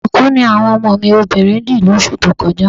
Ṣùkú ni àwọn ọmọ mi obìnrin dì lóṣù tó kọjá